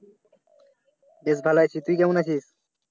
বেশ ভালো আছি। তুই কেমন আছিস?